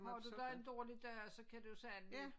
Har du da en dårlig dag så kan du endelig